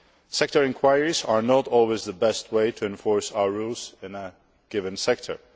Sector inquiries are not always the best way to enforce our rules in a given sector.